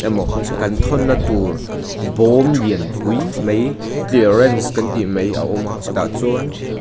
emaw kan thawn na tur bawm lianpui mai clearance kan ti mai a awm a tah chuan--